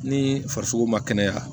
Ni farisogo ma kɛnɛya